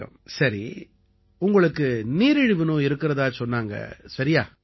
வணக்கம் சரி உங்களுக்கு நீரிழிவு நோய் இருக்கறதா சொன்னாங்க சரியா